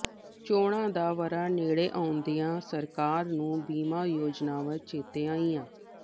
ਚੋਣਾਂ ਦਾ ਵਰ੍ਹਾ ਨੇੜੇ ਆਉਂਦਿਆਂ ਸਰਕਾਰ ਨੂੰ ਬੀਮਾ ਯੋਜਨਾਵਾਂ ਚੇਤੇ ਆਈਆਂ